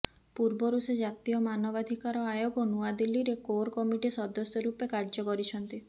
ପୂର୍ବରୁ ସେ ଜାତୀୟ ମାନବାଧିକାର ଆୟୋଗ ନୂଆଦିଲ୍ଲୀ ରେ କୋରକମିଟି ସଦସ୍ୟ ରୂପେ କାର୍ଯ୍ୟ କରିଛନ୍ତି